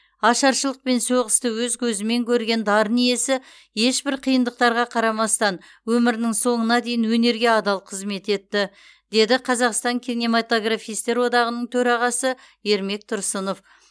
ашаршылық пен соғысты өз көзімен көрген дарын иесі ешбір қиындықтарға қарамастан өмірінің соңына дейін өнерге адал қызмет етті деді қазақстан кинематографистер одағының төрағасы ермек тұрсынов